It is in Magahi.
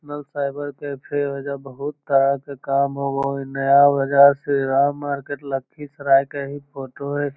नेशनल साइबर कैफ़े हेय ओयजा बहुत तरह से काम होवई हेय नया बाजार श्रीराम मार्केट लखीसराय के ही फोटो हेय।